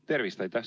Tervist!